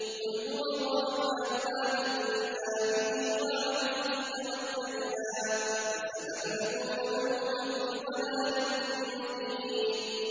قُلْ هُوَ الرَّحْمَٰنُ آمَنَّا بِهِ وَعَلَيْهِ تَوَكَّلْنَا ۖ فَسَتَعْلَمُونَ مَنْ هُوَ فِي ضَلَالٍ مُّبِينٍ